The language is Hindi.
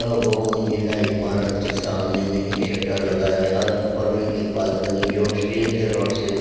अ बहुमंजिला इमारत के सामने में एक शटर लगा है अ ऊपर में एक बालकनी जो स्टील के रोड से --